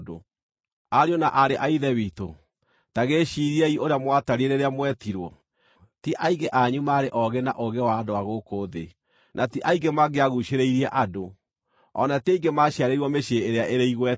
Ariũ na aarĩ a Ithe witũ, ta gĩciiriei ũrĩa mwatariĩ rĩrĩa mwetirwo. Ti aingĩ anyu oogĩ na ũũgĩ wa andũ a gũkũ thĩ; na ti aingĩ mangĩaguucĩrĩirie andũ; o na ti aingĩ maciarĩirwo mĩciĩ ĩrĩa ĩrĩ igweta.